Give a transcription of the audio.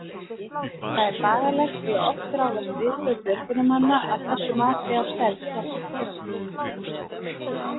Það er bagalegt, því að oft ráðast viðbrögð björgunarmanna af þessu mati á stærð skjálftans.